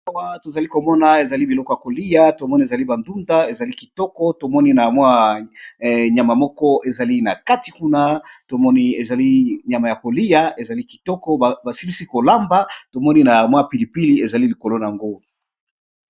Awa tozalikomona ezali biloko ya koliya tomoni ezali ndunda ezali kitoko, tomoni na nyama moko ezali nakati kuna tomoni nyama yakoliya ezali kitoko basilisi KO lamba tomoni na pilipili ezali nalikolo nayango.